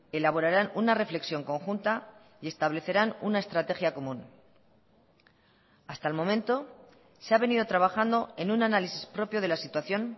elaborarán una reflexión conjunta y establecerán una estrategia común hasta el momento se ha venido trabajando en un análisis propio de la situación